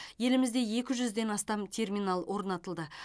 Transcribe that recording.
елімізде екі жүзден астам терминал орнатылды